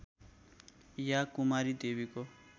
या कुमारी देवीको